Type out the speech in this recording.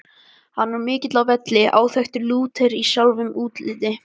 Hann var mikill á velli, áþekkur Lúter sjálfum í útliti.